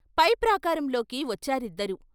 పై ప్రాకారం లోకి వచ్చారిద్దరూ.